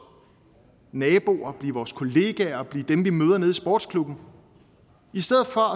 nabo at blive vores kollega og at blive dem vi møder nede i sportsklubben i stedet for